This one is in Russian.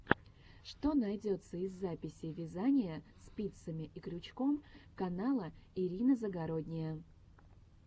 что найдется из записей вязания спицами и крючком канала ирина загородния